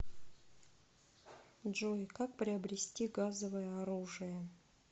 джой как приобрести газовое оружие